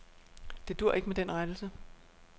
Det duer ikke med den rettelse.